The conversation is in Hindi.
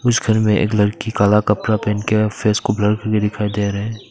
इस घर में एक लड़की काला कपड़ा पहन के फेस को ब्लर कर के दिखाई दे रहे हैं।